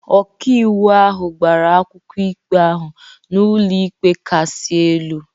Ọkàiwu ahụ gbara akwụkwọ ikpe ahụ n’ụlọikpe kasị elu.